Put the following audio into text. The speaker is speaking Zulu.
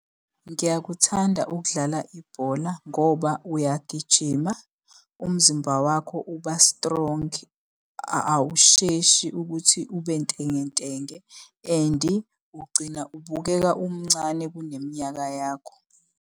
Ngiyakuthanda ukudlala ibhola ngoba uyagijima, umzimba wakho uba strong, awusheshi ukuthi ube ntengentenge and ugcina ubukeka umncane kuneminyaka yakho.